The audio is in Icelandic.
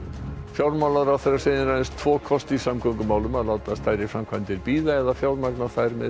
fjármálaráðherra segir aðeins tvo kosti í samgöngumálum að láta stærri framkvæmdir bíða eða fjármagna þær með